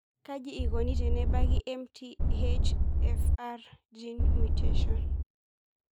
Kaji eikoni tenebaki MTHFR gene mutation?